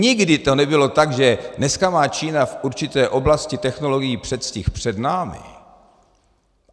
Nikdy to nebylo tak, že dneska má Čína v určité oblasti technologií předstih před námi.